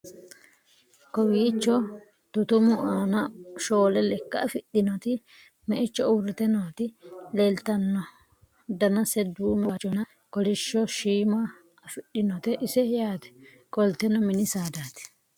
kowiicho tutumu aana shoole lekka afidhinoti meicho uurrite nooti leeltanno danase duume waajjonna kolishsho shiima afidhinote ise yaate qolteno mini saadati